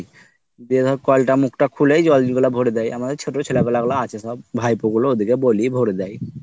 দিয়ে ধর কল টার মুখটা খুলেই জল গুলা ভরে দেই আমার ছোট ছেলে পেলে গুলা আছে সব। ভাইপো গুলো ওদের কে বলি সব ওরাই ভরে দেয়।